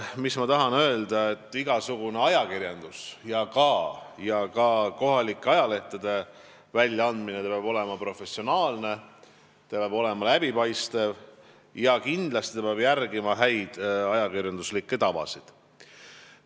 Teiseks tahan öelda, et igasugune ajakirjandus, sh kohalike ajalehtede väljaandmine, peab olema professionaalne: see peab olema läbipaistev ja kindlasti peab järgima häid ajakirjanduslikke tavasid.